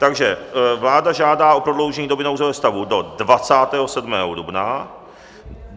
Takže vláda žádá o prodloužení doby nouzového stavu do 27. dubna.